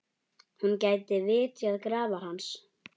Hún geti vitjað grafar hans.